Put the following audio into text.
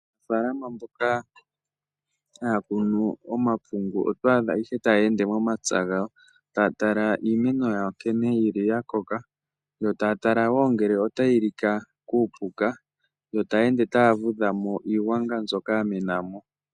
Aanafalama mboka haya kunu omapungu, oto adha taya ende momapya gawo, taya tala iimeno yawo nkene yakoka, yo taya tala wo ngele otayi lika kuupuka, yo taya ende taya vudhamo iigwanga mbyoka yamena mo.